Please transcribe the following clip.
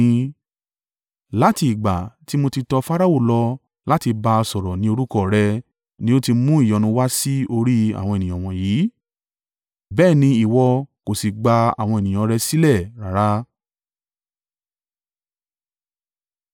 Láti ìgbà ti mo ti tọ Farao lọ láti bá a sọ̀rọ̀ ni orúkọ rẹ ni ó ti mú ìyọnu wá sí orí àwọn ènìyàn wọ̀nyí, bẹ́ẹ̀ ni ìwọ kò sì gba àwọn ènìyàn rẹ sílẹ̀ rárá.”